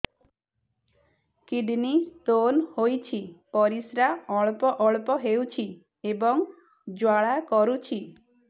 kidney stone ହୋଇଛି ପରିସ୍ରା ଅଳ୍ପ ଅଳ୍ପ ହେଉଛି ଏବଂ ଜ୍ୱାଳା କରୁଛି